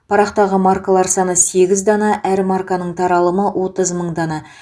парақтағы маркалар саны сегіз дана әр марканың таралымы отыз мың дана